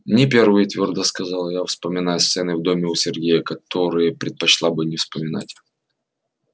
не первый твёрдо сказала я вспоминая сцены в доме у сергея которые предпочла бы не вспоминать